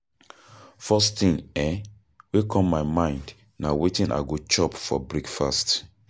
First thing um wey come my mind na wetin I go chop for breakfast.